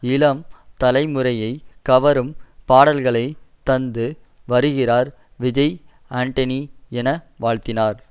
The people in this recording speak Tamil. இளம் தலைமுறையை கவரும் பாடல்களை தந்து வருகிறார் விஜய் ஆண்டனிஎன வாழ்த்தினார்